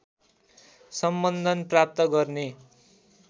सम्बन्धन प्राप्त गर्ने